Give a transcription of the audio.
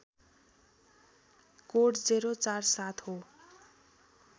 code ०४७ हो